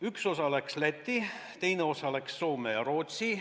Üks osa läks Lätti, teine osa läks Soome ja Rootsi.